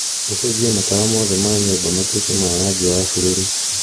ũcenjie matawa mothe ma nyũmba matuĩke ma rangi wa bururu